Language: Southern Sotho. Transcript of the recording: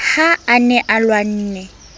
ha a ne a lwanne